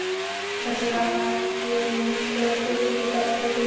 Það glampaði á spegilslétt vatnið í skini flóðljósanna.